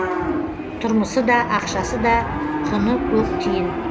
тұрмысы да ақшасы да құны көк тиын